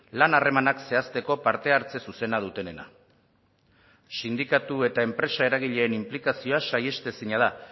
lan harremanak zehazteko parte hartze zuzena dutenena sindikatu eta enpresa eragileen inplikazioa saihestezina da